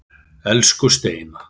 Elsku Steina.